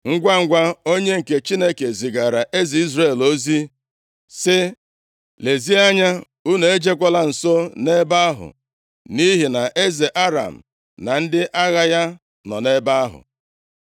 Ngwangwa, onye nke Chineke zigaara eze Izrel + 6:9 Onye a na-akpọ Joram ozi sị, “Lezie anya, unu ejekwala nso nʼebe ahụ, nʼihi na eze Aram na ndị agha ya nọ nʼebe ahụ.”